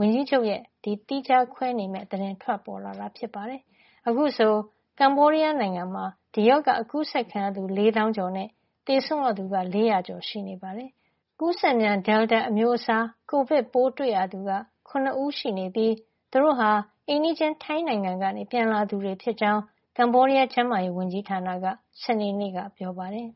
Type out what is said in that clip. ဝန်ကြီးချုပ်ရဲ့ သီးခြားခွဲနေမယ့်သတင်း ထွက်ပေါ်လာတာ ဖြစ်ပါတယ်။ အခုဆို ကမ္ဘောဒီးယားနိုင်ငံမှာ ဒီရောဂါ ကူးစက်ခံရသူ ၄ သောင်းကျော်နဲ့ သေဆုံးရသူက ၄၀၀ ကျော် ရှိနေပါတယ်။ ကူးစက်မြန် Delta အမျိုးအစား ကိုဗစ်ပိုး တွေ့ရသူက ၇ ဦးရှိနေပြီး သူတို့ဟာ အိမ်နီးချင်း ထိုင်းနိုင်ငံကနေ ပြန်လာသူတွေ ဖြစ်ကြောင်း ကမ္ဘောဒီးယား ကျန်းမာရေးဝန်ကြီးဌာနက စနေနေ့က ပြောပါတယ်။